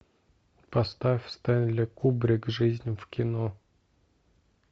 поставь стэнли кубрик жизнь в кино